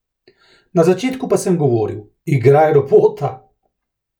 Na začetku pa sem govoril: 'Igraj robota.